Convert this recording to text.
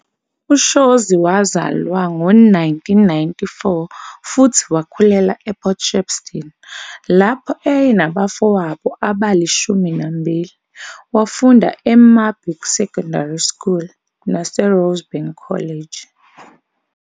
UShozi wazalwa ngo-1994 futhi wakhulela ePort Shepstone lapho ayenabafowabo abali-12. Wafunda eMarburg Secondary School naseRosebank College.